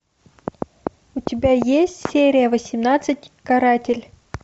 у тебя есть серия восемнадцать каратель